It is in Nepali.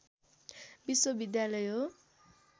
विश्वविद्यालय हो